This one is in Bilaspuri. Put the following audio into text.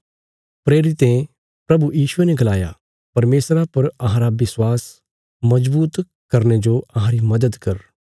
प्रेरितें प्रभु यीशुये ने गलाया परमेशरा पर अहांरा विश्वास मजबूत करने जो अहांरी मदद कर